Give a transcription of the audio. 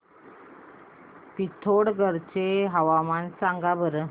पिथोरगढ चे हवामान सांगा बरं